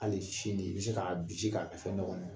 Hali sini i bɛ se k'a binsi k'a fɛn dɔ kɔnɔ